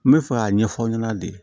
N bɛ fɛ k'a ɲɛfɔ aw ɲɛna de